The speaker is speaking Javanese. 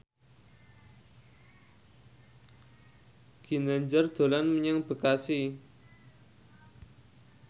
Ginanjar dolan menyang Bekasi